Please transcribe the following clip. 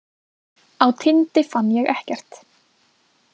Á Tindi fann ég ekkert.